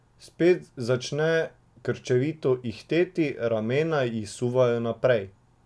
Spet začne krčevito ihteti, ramena ji suvajo naprej.